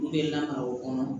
U bɛ na o kɔnɔ